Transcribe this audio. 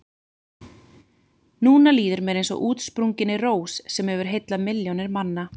Núna líður mér eins og útsprunginni rós sem hefur heillað milljónir manna.